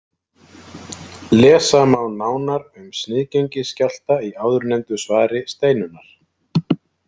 Lesa má nánar um sniðgengisskjálfta í áðurnefndu svari Steinunnar